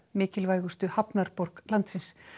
mikilvægustu hafnarborg landsins